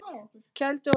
Kældu og njóttu!